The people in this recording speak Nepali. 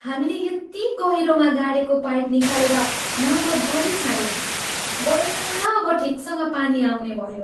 हामीले यति गहिरोमा गाडेको पाइप निकालेर मर्मत गरिछाड्यौँ। बल्ल अब ठिकसँग पानी आउने भयो।